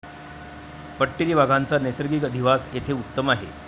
पट्टेरी वाघांचा नैसर्गिक अधिवास येथे उत्तम आहे.